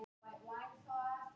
Út um allt.